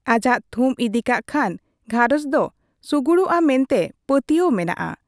ᱟᱡᱟᱜ ᱛᱷᱩᱢ ᱤᱫᱤᱠᱟᱜ ᱠᱷᱟᱱ ᱜᱷᱟᱨᱚᱸᱡᱽ ᱫᱚ ᱥᱩᱜᱩᱲᱚᱜ ᱟ ᱢᱮᱱᱛᱮ ᱯᱟᱹᱛᱭᱟᱹᱣ ᱢᱮᱱᱟᱜᱼᱟ ᱾